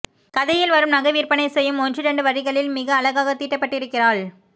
கதையில் வரும் நகைவிற்பனை செய்யும் ஒன்றிரண்டு வரிகளில் மிக அழகாக தீட்டப்பட்டிருக்கிறாள்